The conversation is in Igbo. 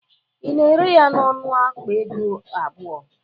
Ị na-ere ya n'ọnụ akpa ego abụọ?